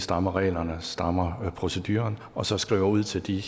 strammer reglerne strammer procedurerne og så skriver ud til de